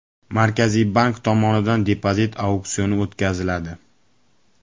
Markaziy bank tomonidan depozit auksioni o‘tkaziladi.